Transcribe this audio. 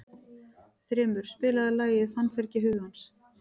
Þrymur, spilaðu lagið „Fannfergi hugans“.